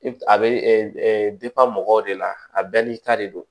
A bɛ mɔgɔw de la a bɛɛ n'i ta de don